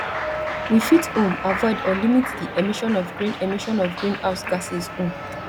we fit um avoid or limit the emission of green emission of green house gases um